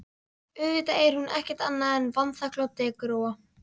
Auðvitað er hún ekkert annað en vanþakklát dekurrófa.